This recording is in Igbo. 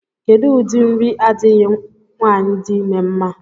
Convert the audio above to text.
Kedụ ụdị nri adịghị nwaanyị di ime mma?